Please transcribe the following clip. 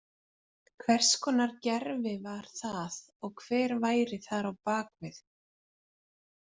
Hvers konar gervi var það og hver væri þar á bak við?